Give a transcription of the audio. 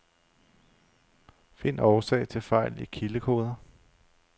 Find årsag til fejl i kildekoder.